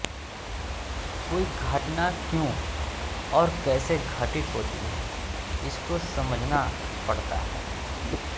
कोई घटना क्यों और कैसे घटित होती है इसको समझना पड़ता है